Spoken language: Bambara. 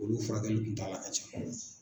Olu furakɛli kuntaala ka jan.